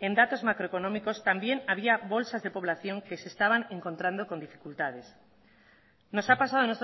en datos macroeconómicos también había bolsas de población que se estaban encontrando con dificultades nos ha pasado